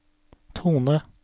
tone